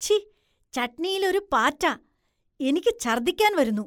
ഛി, ചട്ണിയില്‍ ഒരു പാറ്റ, എനിക്ക് ഛര്‍ദ്ദിക്കാന്‍ വരുന്നു.